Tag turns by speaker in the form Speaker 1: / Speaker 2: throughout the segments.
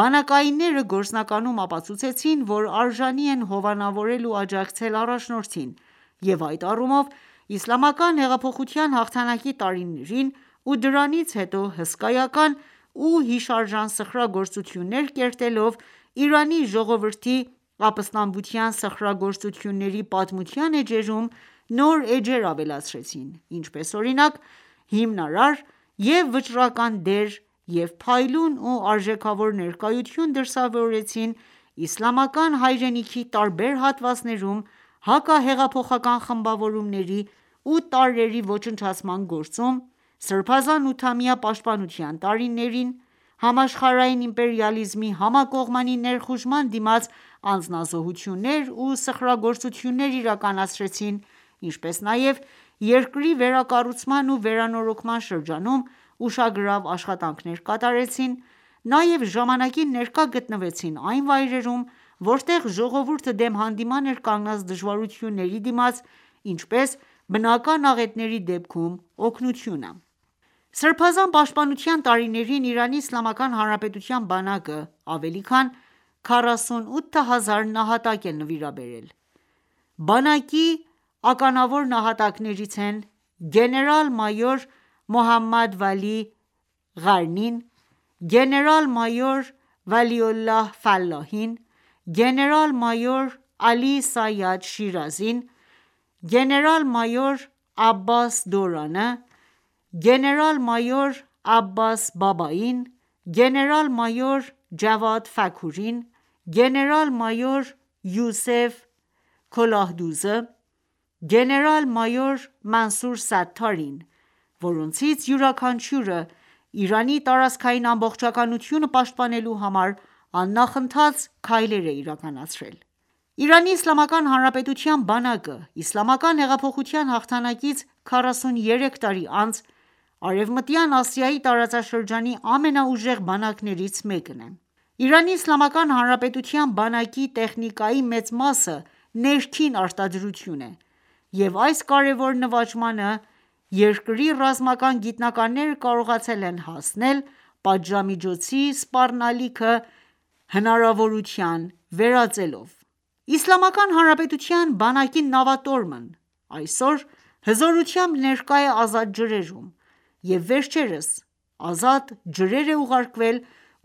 Speaker 1: բանակայինները գործնականում ապացուցեցին, որ արժանի են հովանավորել ու աջակցել առաջնորդին և այդ առումով, Իսլամական հեղափոխության հաղթանակի տարիներին ու դրանից հետո հսկայական ու հիշարժան սխրագործություններ կերտելով, Իրանի ժողովրդի ապստամբության սխրագործությունների պատմության էջերում ,նոր էջեր ավելացրեցին ,ինչպես օրինակ հիմնարար և վճռական դեր և փայլուն ու արժեքավոր ներկայություն դրսևորեցին իսլամական հայրենիքի տարբեր հատվածներում հակահեղափոխական խմբավորումների ու տարրերի ոչնչացման գործում, սրբազան ութամյա պաշտպանության տարիներին, համաշխարհային իմպերիալիզմի համակողմանի ներխուժման դիմաց անձնազոհություններ ու սխրագործություններ իրականացրին ,ինչպես նաև երկրի վերակառուցման ու վերանորոգման շրջանում ուշագրավ աշխատանքներ կատարեցին, նաև ժամանակին ներկա գտնվեցին այն վայրերում, որտեղ ժողովուրդը դեմ հանդիման էր կանգնած դժվարությունների դիմաց ,ինչպես բնական աղետների դեպքում օգնությունը: Սրբազան պաշտպանության տարիներին Իրանի Իսլամական Հանրապետության բանակը, ավելի քան 48000 նահատակ է նվիրաբերել։ Բանակի ականավոր նահատակներից են՝գեներալ-մայոր Մոհամմադ Վալի Ղարնին, գեներալ-մայոր Վալիոլահ Ֆալահին, գեներալ մայոր Ալի Սայադ Շիրազին, գեներալ-մայոր Աբբաս Դորանը, գեներալ-մայոր Աբբաս Բաբային, գեներալ-մայոր Ջավադ Ֆաքուրին, գեներալ-մայոր Յուսեֆ Քոլահդուզը, Գեներալ -մայոր Մանսուր Սաթարին ,որոնցից յուրաքանչյուրը Իրանի տարածքային ամբողջակնությունը պաշտպանելու համար աննախընթաց քայլեր է իրականացրել: Իրանի Իսլամական Հանրապետության բանակը Իսլամական հեղափոխության հաղթանակից 43 տարի անց Արեւմտյան Ասիայի տարածաշրջանի ամենաուժեղ բանակներից մեկն է։Իրանի Իսլամական Հանրապետության բանակի տեխնիկայի մեծ մասը ներքին արտադրություն է,և այս կարևոր նվաճմանը երկրի ռազմական գիտնականները կարողացել են հասնել ՝ պատժամիջոցի սպառնալիքը հնարավորության վերածելով։ Իսլամական Հանրապետության բանակի նավատորմն այսօր հզորությամբ ներկա է ազատ ջրերում, և վերջերս ազատ ջրեր է ուղարկվել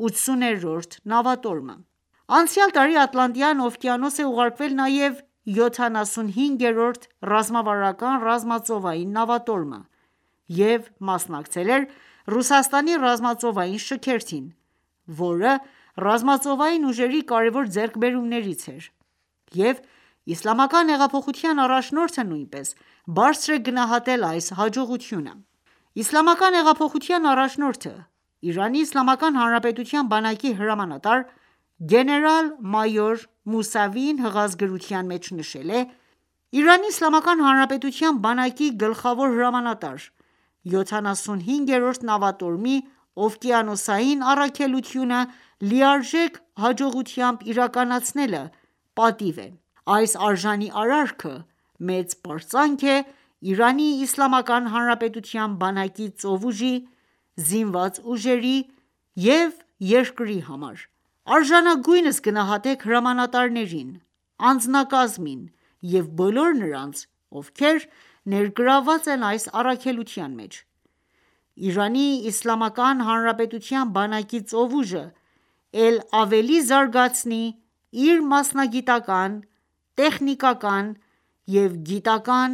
Speaker 1: 80-րդ նավատորմը։ Անցյալ տարի Ատլանտյան օվկիանոս է ուղարկվել նաև 75-րդ ռազմավարական ռազմածովային նավատորմը և մասնակցել էր Ռուսաստանի ռազմածովային շքերթին, որը ռազմածովային ուժերի կարևոր ձեռքբերումներից էր, և Իսլամական հեղափոխության առաջնորդը նույնպես բարձր է գնահատել այս հաջողությունը։ Իսլամական հեղափոխության առաջնորդը, Իրանի Իսլամական Հանրապետության բանակի հրամանատար, գեներալ-մայոր Մուսավիին հղած գրության մեջ նշել է.«Իրանի Իսլամական Հանրապետության բանակի գլխավոր հրամանատար, 75-րդ նավատորմի օվկիանոսային առաքելությունը լիարժեք հաջողությամբ իրականացնելը պատիվ է:Այս արժանի արարքը մեծ պարծանք է Իրանի Իսլամական Հանրապետության բանակի ծովուժի, Զինված ուժերի ու երկրի համար։ Արժանագույնս գնահատեք՝ հրամանատարներին, անձնակազմին և բոլոր նրանց, ովքեր ներգրավված են այս առաքելության մեջ: ԻԻՀ-ի բանակի ծովուժը էլ ավելի զարգացնի իր մասնագիտական, տեխնիկական և գիտական